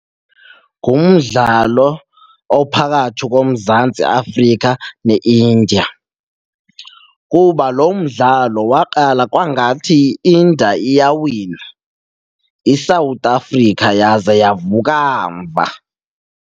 Ngumdlalo ophakathi koMzantsi Afrika neIndia kuba lo mdlalo waqala kwangathi i-India iyawina, iSouth Africa yaze yavuka mva.